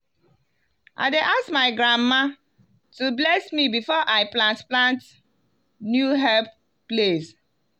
i dey ask my grandma to bless me before i plant plant new herb place.